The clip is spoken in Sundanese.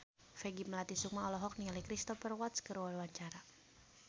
Peggy Melati Sukma olohok ningali Cristhoper Waltz keur diwawancara